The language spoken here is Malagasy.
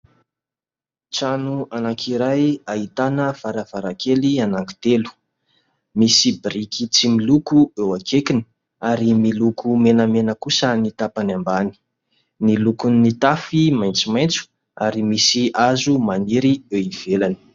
Trano anankiray ahitana varavarankely anankitelo. Misy biriky tsy miloko eo akaikiny ary miloko menamena kosa ny tapany ambany. Ny lokon'ny tafo maintsomaintso ary misy hazo maniry eo ivelany.